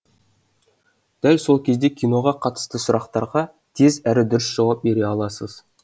дәл сол кезде киноға қатысты сұрақтарға тез әрі дұрыс жауап бере аласыз